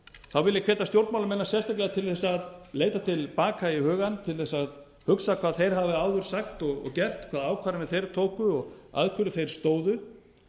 þá vil ég hvetja stjórnmálamennina sérstaklega til þess að leita til baka í hugann til þess að hugsa hvað þeir hafi áður sagt og gert hvaða ákvarðanir þeir tóku og að hverju þeir stóðu því